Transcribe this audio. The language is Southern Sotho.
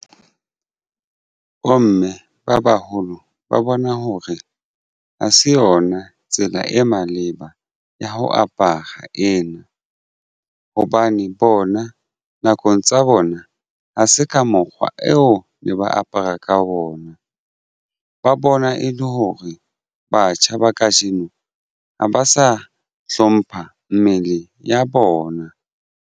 Bomme ba baholo ba bona hore ha se yona tsela e maleba ya ho apara ena hobane bona nakong tsa bona ona ha se ka mokgwa eo ne ba apara ka ona ba bona e le hore batjha ba kajeno ha ba sa hlompha mmele ya bona.